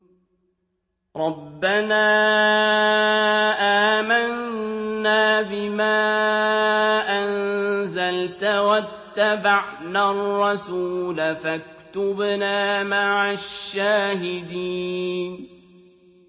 رَبَّنَا آمَنَّا بِمَا أَنزَلْتَ وَاتَّبَعْنَا الرَّسُولَ فَاكْتُبْنَا مَعَ الشَّاهِدِينَ